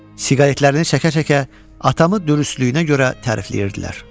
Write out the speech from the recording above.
Siqaretlərini çəkə-çəkə atamı dürüstlüyünə görə tərifləyirdilər.